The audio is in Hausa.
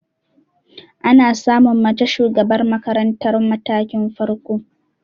Ana samun mace shugabar makarantar matakin farko.